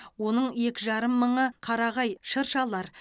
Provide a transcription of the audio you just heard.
оның екі жарым мыңы қарағай шыршалар